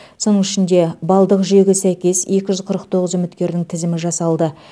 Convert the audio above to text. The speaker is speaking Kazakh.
соның ішінде балдық жүйеге сәйкес екі жүз қырық тоғыз үміткердің тізімі жасалды